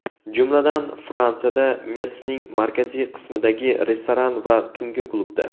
Jumladan, Fransiyada Metsning markaziy qismidagi restoran va tungi klubda.